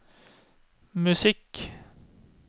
musikk